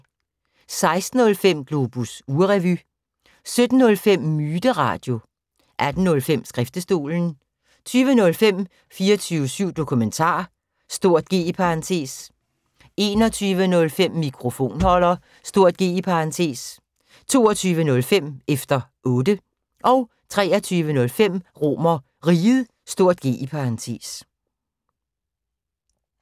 16:05: Globus ugerevy 17:05: Myteradio 18:05: Skriftestolen 20:05: 24syv Dokumentar (G) 21:05: Mikrofonholder (G) 22:05: Efter Otte 23:05: RomerRiget (G)